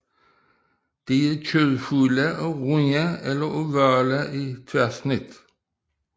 De er kødfulde og runde eller ovale i tværsnit